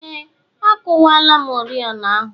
Ee, akuwala m oriọna ahụ